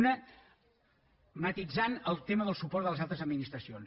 una que matisa el tema del suport de les altres administracions